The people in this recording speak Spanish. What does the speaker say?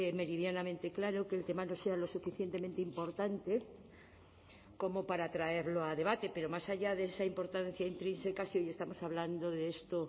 meridianamente claro que el tema no sea lo suficientemente importante como para traerlo a debate pero más allá de esa importancia intrínseca si estamos hablando de esto